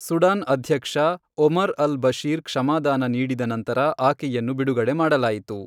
Sudan ಅಧ್ಯಕ್ಷ, Omar al Bashir ಕ್ಷಮಾದಾನ ನೀಡಿದ ನಂತರ ಆಕೆಯನ್ನು ಬಿಡುಗಡೆ ಮಾಡಲಾಯಿತು.